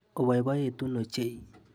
Oboiboitu ochei.